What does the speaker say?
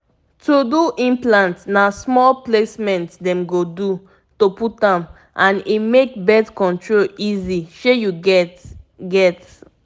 to do implant na small placement dem go do to put am and e make birth control easy shey you get. get.